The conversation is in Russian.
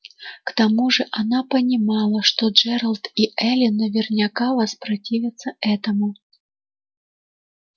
к тому же она понимала что джералд и эллин наверняка воспротивятся этому